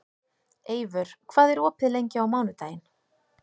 Eivör, hvað er opið lengi á mánudaginn?